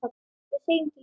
við segjum til dæmis